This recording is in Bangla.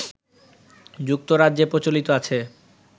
যুক্তরাজ্যে প্রচলিত আছে